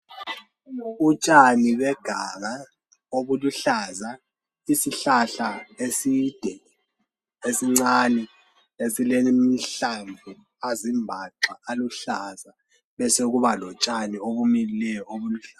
Utshani beganga obuluhlaza isihlahla eside esincane esilamahlamvu azimbaxa aluhlaza besekuba lotshani obumilileyo obuluhlaza.